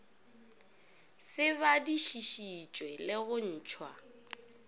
se badišišitšwe le go ntšhwa